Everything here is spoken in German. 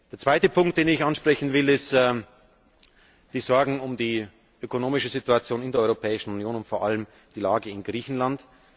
Der zweite Punkt, den ich ansprechen will, sind die Sorgen um die ökonomische Situation in der Europäischen Union und vor allem die Lage in Griechenland.